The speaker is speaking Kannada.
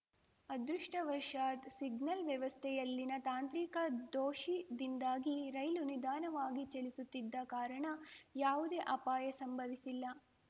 ಅದೃಷ್ಟಾವಶತ್‌ ಸಿಗ್ನಲ್‌ ವ್ಯವಸ್ಥೆಯಲ್ಲಿನ ತಾಂತ್ರಿಕ ದೋಷಿದಿಂದಾಗಿ ರೈಲು ನಿಧಾನವಾಗಿ ಚಲಿಸುತ್ತಿದ್ದ ಕಾರಣ ಯಾವುದೇ ಅಪಾಯ ಸಂಭವಿಸಿಲ್ಲ